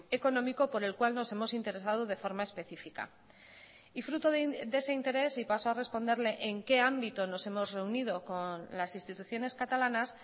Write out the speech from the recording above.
económico por el cual nos hemos interesado de forma específica y fruto de ese interés y paso a responderle en qué ámbito nos hemos reunido con las instituciones catalanas